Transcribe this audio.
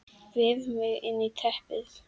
Vef mig inn í teppið.